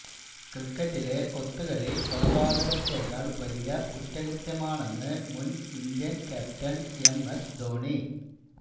ക്രിക്കറ്റിലെ ഒത്തുകളി കൊലപാതകത്തേക്കാള് വലിയ കുറ്റകൃത്യമാണെന്ന് മുന് India captain M S Dhoni